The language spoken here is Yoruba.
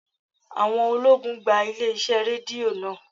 Àwọn ológun gba ilé iṣẹ́ Rédíò náà.